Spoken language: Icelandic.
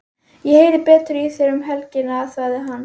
Ég heyri betur í þér um helgina, sagði hann.